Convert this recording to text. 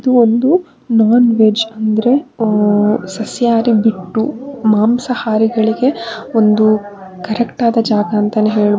ಒಂದು non veg ಅಂದ್ರೆ ಸಸ್ಯಾಹಾರಿಗೆ ಬಿಟ್ಟು ಮಾಂಸಾಹಾರಿಗಳಿಗೆ ಒಂದು ಕರೆಕ್ಟ್ ಆದ ಜಾಗ ಅಂತಾನೆ ಹೇಳಬಹುದು.